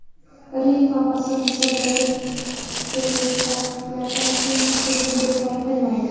Rim papasi Misrdagi teraktlardan so‘ng tashrifini bekor qilmaydi.